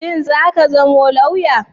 Shin zaka zama lauya?